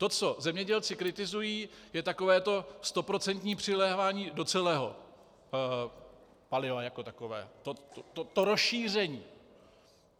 To, co zemědělci kritizují, je takové to stoprocentní přilévání do celého paliva jako takového, to rozšíření.